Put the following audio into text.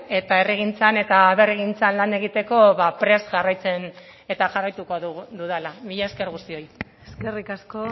eta herrigintzan eta aberrigintzan lan egiteko prest jarraituko dudala mila esker guztiok eskerrik asko